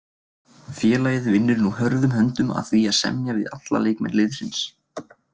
Félagið vinnur nú hörðum höndum að því að semja við alla leikmenn liðsins.